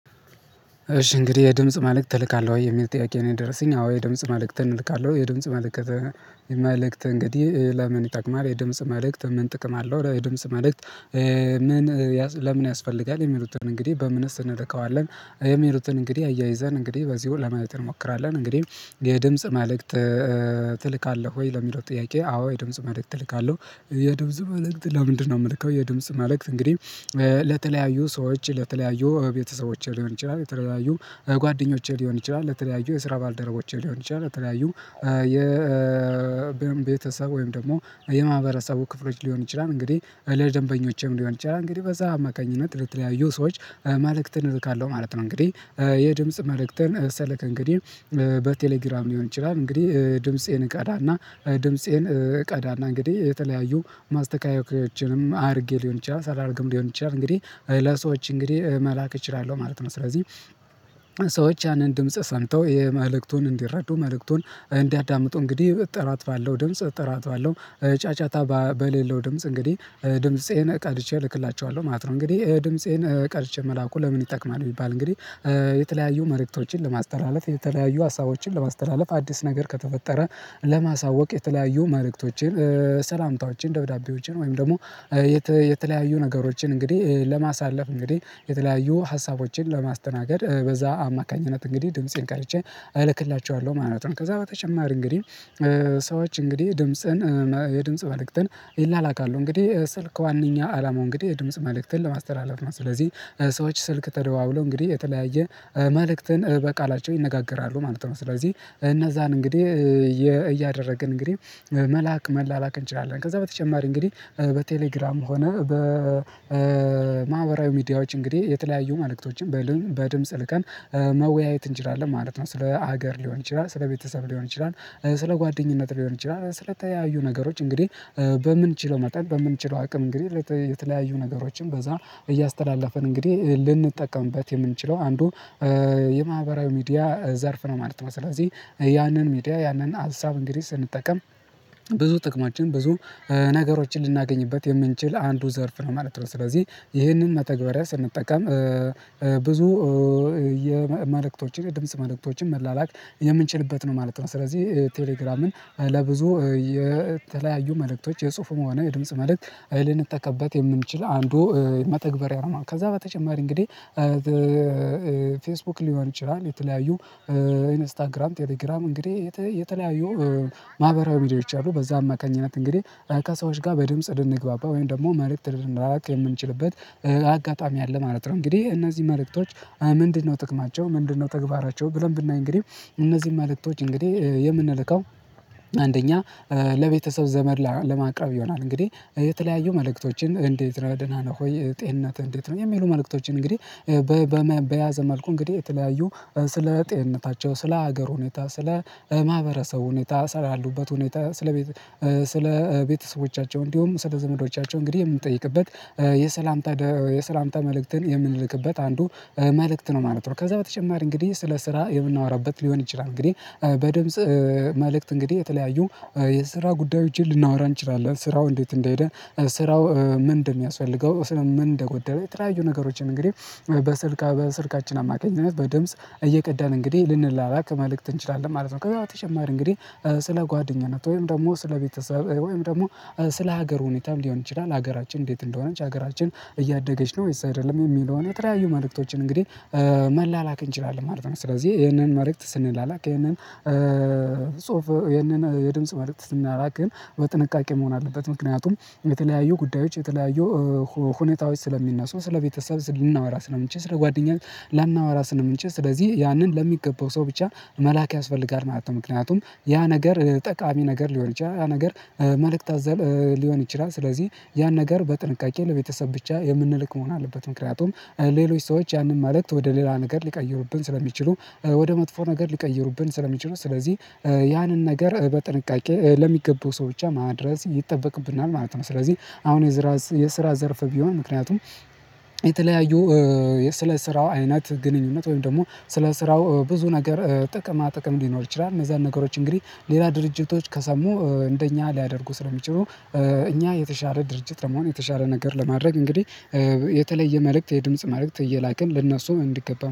እሽ እንግዲህ የድምጽ መልእክት ትልካለሁ ወይ? የሚል ጥያቄ ነው የደረሰኝ አዎ የድምጽ መልእክትን እልካለሁ። የድምጽ መልእክት መልእክት እንግዲህ ለምን ይጠቅማል? የድምጽ መልእክት ምን ጥቅም አለው? የድምጽ መልእክት ምን ለምን ያስፈልጋ? የሚሉትን እንግዲህ በምንስ እንደርከዋለን? የሚሉትን እንግዲህ አያይዘን እንግዲህ በዚሁ ለማየት እንሞክራለን። እንግዲህ የድምጽ መልእክት ትልካለህ ወይ? ለሚለው ጥያቄ አዎ የድምጽ መልእክት እልካለህ የድምጽ መልእክት ለምንድነው የምልከው? የድምጽ መልእክት እንግዲህ ለተለያዩ ሰዎች ለተለያዩ ቤተሰቦቼ ሊሆን ይችላል። የተለያዩ ጓደኞቼ ሊሆን ይችላ። ለተለያዩ የስራ ባልደረቦች ሊሆን ይችላል። ለተለያዩ የቤተሰብ ወይም ደግሞ የማህበረሰቡ ክፍሎች ሊሆን ይችላል። እንግዲህ ለደንበኞችም ሊሆን ይችላል። እንግዲህ በዛ አማካኝነት ለተለያዩ ሰዎች መልእክትን እልካለሁ ማለት ነው። እንግዲህ የድምጽ መልእክትን ሰለክ እንግዲህ በቴሌግራም ሊሆን ይችላል። እንግዲህ ድምፄን እቀዳና ድምፄን እቀዳና እንግዲህ የተለያዩ ማስተካከያዎችንም አድርጌ ሊሆን ይችላል። ሳላረግም ሊሆን ይችላል። እንግዲህ ለሰዎች እንግዲህ መላክ እችላለ። ማለት ነው ስለዚህ ሰዎች ያንን ድምጽ ሰምተው የመልእክቱን እንዲረዱ መልእክቱን እንዲያዳምጡ እንግዲህ ጥራት ባለው ድምጽ ጥራት ባለው ጫጫታ በሌለው ድምጽ እንግዲህ ድምፄን ቀድቼ እልክላቸዋለሁ። ማለት ነው እንግዲህ ድምፄን ቀድቼ መላኩ ለምን ይጠቅማል? ቢባል እንግዲህ የተለያዩ መልእክቶችን ለማስተላለፍ የተለያዩ ሀሳቦችን ለማስተላለፍ አዲስ ነገር ከተፈጠረ ለማሳወቅ የተለያዩ መልእቶችን፣ ሰላምታዎችን፣ ደብዳቤዎችን፣ ወይም ደግሞ የተለያዩ ነገሮችን እንግዲህ ለማሳለፍ እንግዲህ የተለያዩ ሀሳቦችን ለማስተናገድ በዛ አማካኝነት እንግዲህ ድምፄን ቀድቼ አልክላቸዋለሁ። ማለት ነው ከዛ በተጨማሪ እንግዲህ ሰዎች እንግዲህ ድምጽን የድምጽ መልእክትን ይላላካሉ። እንግዲህ ስልክ ዋናኛ አላማው እንግዲህ የድምጽ መልእክትን ለማስተላለፍ ነው። ስለዚህ ሰዎች ስልክ ተደዋውሎ እንግዲህ የተለያየ መልእክትን በቃላቸው ይነጋገራሉ። ማለት ነው ስለዚህ እነዛን እንግዲህ እያደረግን እንግዲህ መላክ መላላክ እንችላለን። ከዛ በተጨማሪ እንግዲህ በቴሌግራም ሆነ በማህበራዊ ሚዲያዎች እንግዲህ የተለያዩ መልእክቶችን በድምጽ ልከን መወያየት እንችላለን ማለት ነው። ስለ ሀገር ሊሆን ይችላል። ስለ ቤተሰብ ሊሆን ይችላል፤ ስለ ጓደኝነት ሊሆን ይችላል፤ ስለተያዩ ነገሮች እንግዲህ በምንችለው መጠን በምን ችለው አቅም እንግዲህ የተለያዩ ነገሮችን በዛ እያስተላለፈን እንግዲህ ልንጠቀምበት የምንችለው አንዱ የማህበራዊ ሚዲያ ዘርፍ ነው። ማለት ነው ስለዚህ ያንን ሚዲያ ያንን ሀሳብ እንግዲህ ስንጠቀም ብዙ ጥቅማችን ብዙ ነገሮችን ልናገኝበት የምንችል አንዱ ዘርፍ ነው። ማለት ነው ስለዚህ ይሄንን መተግበሪያ ስንጠቀም ብዙ የመልእክቶችን የድምጽ መልእክቶችን መላላክ የምንችልበት ነው። ማለት ነው ስለዚህ ቴሌግራምን ለብዙ የተለያዩ መልእክቶች የጽሁፉ መሆኑ የድምጽ መልእክት ልንጠቀምበት የምንችል አንዱ መተግበሪያ ነው። ከዛ በተጨማሪ እንግዲህ ፌስቡክ ሊሆን ይችላል፤ የተለያዩ ኢንስታግራም፤ ቴሌግራም እንግዲህ የተለያዩ ማህበራዊ ሚዲያዎች አሉ። በዛ አማካኝነት እንግዲህ ራካ ሰዎች ጋር በድምጽ ልንግባባ ወይም ደግሞ መልእክት ልንላላክ የምንችልበት አጋጣሚ አለ። ማለት ነው እንግዲህ እነዚህ መልእክቶች ምንድነው ጥቅማቸው? ምንድነው ተግባራቸው? ብለን ብናይ እንግዲህ እነዚህን መልእክቶች እንግዲህ የምንልከው አንደኛ ለቤተሰብ ዘመድ ለማቅረብ ይሆናል። እንግዲህ የተለያዩ መልእክቶችን እንዴት ነህ? ደና ነህ ወይ? ጤንነት እንዴት ነው? የሚሉ መልእክቶችን እንግዲህ በያዘ መልኩ እንግዲህ የተለያዩ ስለ ጤንነታቸው ስለ ሀገር ሁኔታ፤ ስለ ማህበረሰቡ ሁኔታ፤ ሳላሉበት ሁኔታ፤ ስለ ስለ ቤተሰቦቻቸው፤ እንዲሁም ስለ ዘመዶቻቸው፤ እንግዲህ የምንጠይቅበት የሰላምታ የሰላምታ መልእክትን የምንልክበት አንዱ መልእክት ነው። ማለት ነው ከዛ በተጨማሪ እንግዲህ ስለ ስራ የምናወራበት ሊሆን ይችላል። እንግዲህ በድምጽ መልእክት እንግዲህ የተለያዩ የስራ ጉዳዮችን ልናወራ እንችላለን። ስራው እንዴት እንደሄደ? ስራው ምን እንደሚያስፈልገው? ስለ ምን እንደጎደለ? የተለዩ ነገሮችን እንግዲህ በስልካ በስልካችን አማካኝነት በድምጽ እየቀዳን እንግዲህ ልንላላክ መልእክት እንችላለን። ማለት ነው ከዛ በተጨማሪ እንግዲህ ስለ ጓደኝነት ወይም ደግሞ ስለ ቤተሰብ ወይም ደግሞ ስለ ሀገር ሁኔታም ሊሆን ይችላል። ሀገራችን እንዴት እንደሆነች? ሀገራችን እያደገች ነው ወይስ አይደለም? የሚለውን የተለያዩ መልእክቶችን እንግዲህ መላላክ እንችላለን። ማለት ነው ስለዚህ ይሄንን መልእክት ስንላላክ ይሄንን ጽሁፍ ይህንን የድምጽ መልእክት ስናራቅ ግን በጥንቃቄ መሆን አለበት ምክንያቱም የተለያዩ ጉዳዮች የተለያዩ ሁኔታዎች ስለሚነሱ ስለቤተሰብ ስናወራ ስለምንችል ስለ ጓደኛዬ ላናወራ ስለምንችል ስለዚህ ያንን ለሚገባው ሰው ብቻ መላክ ያስፈልጋል። ማለት ነው ምክንያቱም ያ ነገር ጠቃሚ ነገር ሊሆን ይችላል። ያ ነገር መልእክት አዛል ሊሆን ይችላል። ስለዚህ ያን ነገር በጥንቃቄ ለቤተሰብ ብቻ የምንልክ መሆን አለበት። ምክንያቱም ሌሎች ሰዎች ያንን ማለት ወደ ሌላ ነገር ሊቀይሩብን ስለሚችሉ። ወደ መጥፎ ነገር ሊቀይሩብን ስለሚችሉ ስለዚህ ያንን ነገር በጥንቃቄ ለሚገቡ ሰዎች ብቻ ማድረስ ይጠበቅብናል። ማለት ነው ስለዚህ አሁን የዝራ የስራ ዘርፍ ቢሆን ምክንያቱም የተለያዩ ስለ ስራው አይነት ግንኙነት ወይም ደግሞ ስለ ስራው ብዙ ነገር ጥቅማ ጥቅም ሊኖር ይችላል። እነዛን ነገሮች እንግዲህ ሌላ ድርጅቶች ከሰሙ እንደኛ ሊያደርጉ ስለሚችሉ እኛ የተሻለ ድርጅት ለመሆን የተሻለ ነገር ለማድረግ እንግዲህ የተለየ መልእክት የድምጽ መልእክት እየላክን ለእነሱ እንዲገባ